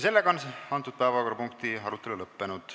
Selle päevakorrapunkti arutelu on lõppenud.